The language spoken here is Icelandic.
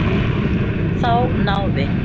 Þá náði